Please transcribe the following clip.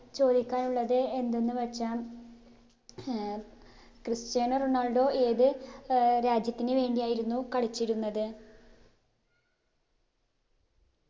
ചോദിക്കാനുള്ളത് എന്തെന്ന് വച്ചാ ഏർ ക്രിസ്റ്റ്യാനോ റൊണാൾഡോ ഏത് ഏർ രാജ്യത്തിന് വേണ്ടിയായിരുന്നു കളിച്ചിരുന്നത്